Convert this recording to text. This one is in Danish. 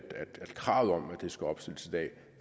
det skal opstilles